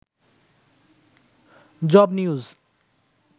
job news